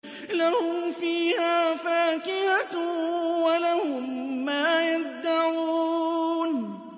لَهُمْ فِيهَا فَاكِهَةٌ وَلَهُم مَّا يَدَّعُونَ